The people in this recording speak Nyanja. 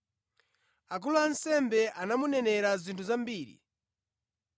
Akulu a ansembe anamunenera zinthu zambiri.